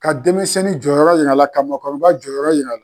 Ka denmisɛnnin jɔyɔrɔ yira a la, ka mɔgɔkɔrɔba jɔyɔrɔ yira a la.